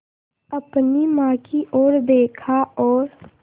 अपनी माँ की ओर देखा और